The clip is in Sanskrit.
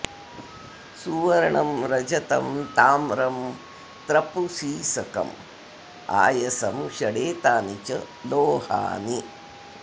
सुवर्णं रजतं ताम्रं त्रपु सीसकम् आयसं षडेतानि च लोहानि